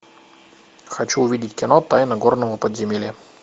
хочу увидеть кино тайна горного подземелья